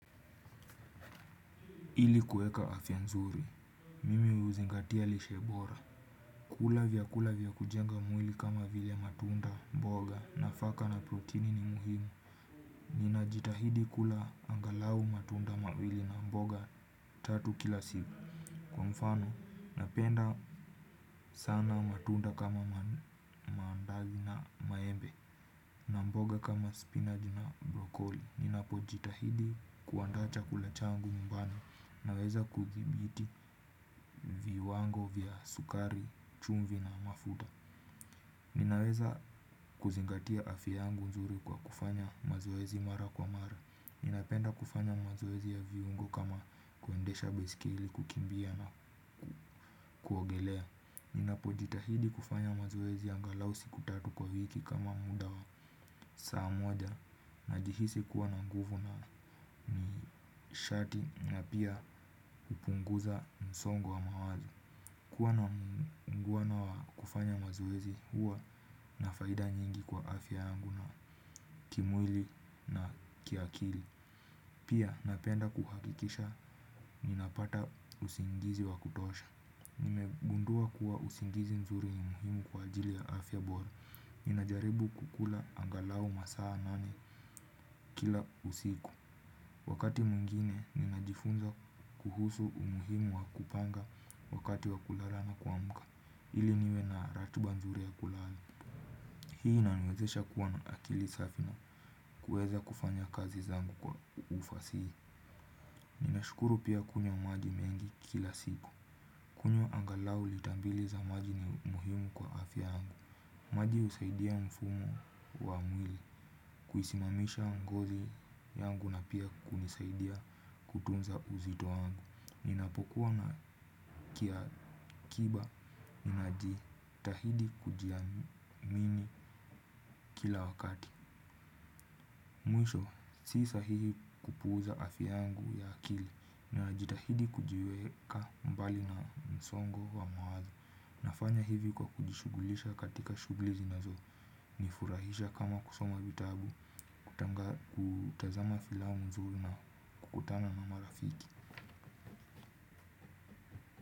Ili kuweka afya nzuri mimi huzingatia lishebora kula vyakula vya kujenga mwili kama vile matunda mboga nafaka na proteini ni muhimu ninajitahidi kula angalau matunda mawili na mboga tatu kila siku kwa mfano napenda sana matunda kama mandazi na maembe na mboga kama spinach na brokoli ninapojitahidi kuandaa chakula changu nyumbani. Naweza kuthibiti viwango vya sukari, chumvi na mafuta. Ninaweza kuzingatia afya yangu nzuri kwa kufanya mazoezi mara kwa mara. Ninapenda kufanya mazoezi ya viungo kama kuendesha baiskeli kukimbia na kuogelea. Ninapojitahidi kufanya mazoezi ya angalau siku tatu kwa wiki kama muda wa saa moja. Najihisi kuwa na nguvu na nishati na pia kupunguza msongo wa mawazo. Kuwa na mngwana wa kufanya mazoezi huwa na faida nyingi kwa afya yangu na kimwili na kiakili. Pia napenda kuhakikisha ninapata usingizi wa kutosha. Nimegundua kuwa usingizi mzuri ni muhimu kwa ajili ya afya bora. Ninajaribu kukula angalau masaa nane kila usiku. Wakati mwingine ninajifunza kuhusu umuhimu wa kupanga wakati wa kulala na kuamka. Ili niwe na ratiba nzuri ya kulala. Hii inaniwezesha kuwa na akili safi na kuweza kufanya kazi zangu kwa ufasihi. Ninashukuru pia kunywa maji mengi kila siku. Kunywa angalau lita mbili za maji ni muhimu kwa afya yangu. Maji husaidia mfumo wa mwili. Kuisimamisha ngozi yangu na pia kunisaidia kutunza uzito wangu. Ninapokuwa na kia kiba najitahidi kujiamini kila wakati. Mwisho, si sahihi kupuuza afya yangu ya akili najitahidi kujiweka mbali na msongo wa mawazo nafanya hivi kwa kujishughulisha katika shughuli zinazo nifurahisha kama kusoma vitabu. Kutazama filamu nzuri na kukutana na marafiki.